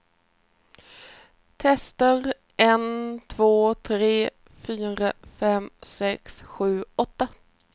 Testar en två tre fyra fem sex sju åtta.